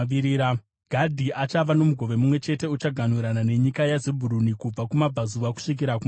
Gadhi achava nomugove mumwe chete; uchaganhurana nenyika yaZebhuruni kubva kumabvazuva kusvika kumavirira.